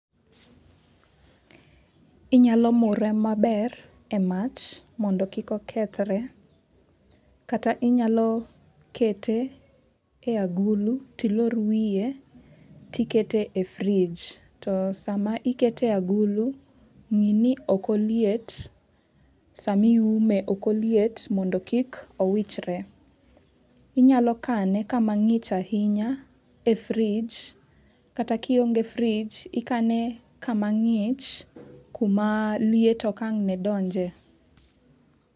Inyalo mure maber e mach mondo kik okethre. Kata inyalo kete e agulu tilor wiye tikete e fridge. To sama ikete e agula ng'i ni ok oliet. Sama iume ok oliet mondo kik owichre. Inyalo kane kama ng'ich ahinya e fridge. Kata kionge fridge ikane kama ng'ich kama liet ok ang' ne donje.